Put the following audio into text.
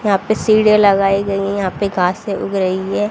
यहां पे सीढ़ियां लगाई गई यहां पे घासे उग रही है।